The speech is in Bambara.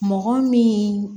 Mɔgɔ min